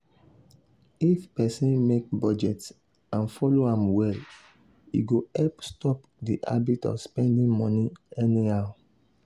if person make budget and follow am well e go help stop the habit of spending money anyhow.